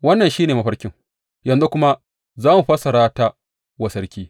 Wannan shi ne mafarkin, yanzu kuma za mu fassara ta wa sarki.